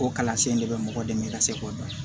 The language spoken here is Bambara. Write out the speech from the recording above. O kalansen de bɛ mɔgɔ dɛmɛ ka se k'o dɔn